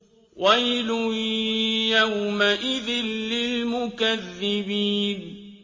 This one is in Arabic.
وَيْلٌ يَوْمَئِذٍ لِّلْمُكَذِّبِينَ